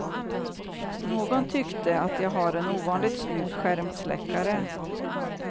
Någon tyckte att jag har en ovanligt snygg skärmsläckare.